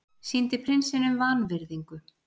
Sýndi prinsinum vanvirðingu